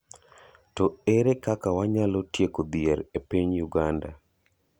To ere kaka wanyalo tieko dhier e piny Uganda?